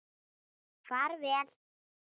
Far vel.